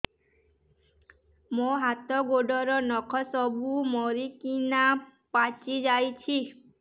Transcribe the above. ମୋ ହାତ ଗୋଡର ନଖ ସବୁ ମରିକିନା ପଚି ଯାଉଛି